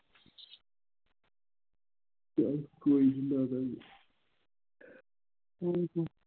ਚੱਲ ਕੋਈ ਨਹੀਂ ਲਾ ਦਾਂਗੇ